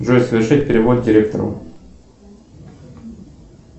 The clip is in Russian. джой совершить перевод директору